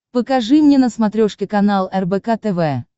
покажи мне на смотрешке канал рбк тв